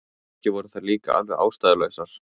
Kannski voru þær líka alveg ástæðulausar.